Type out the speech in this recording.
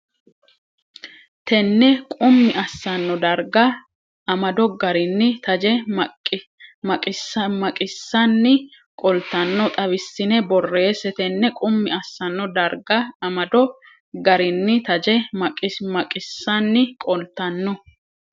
Tene qummi assanno darga amado garinni taje maqissanni qoltanno xawissine borreesse Tene qummi assanno darga amado garinni taje maqissanni qoltanno.